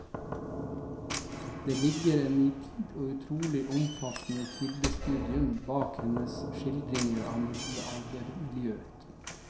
Det ligger et nitid og utrolig omfattende kildestudium bak hennes skildringer av middelaldermiljøet.